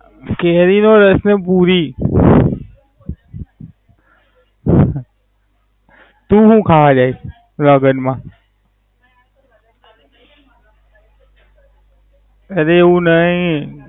કેરી નો રસ પુરી. હ તુ હુ ખાવા જાય લગન મા? અરે એવું નય.